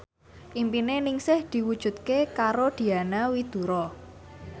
impine Ningsih diwujudke karo Diana Widoera